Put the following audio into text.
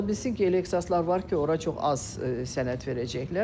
Ola bilsin ki, elə ixtisaslar var ki, ora çox az sənəd verəcəklər.